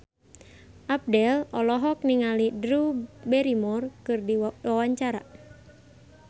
Abdel olohok ningali Drew Barrymore keur diwawancara